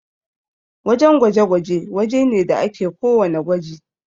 wajan gwaje-gwaje waje ne wanda ake ko wanna gwaji